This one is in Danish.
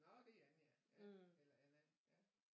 Nå det er Anja ja eller Anna ja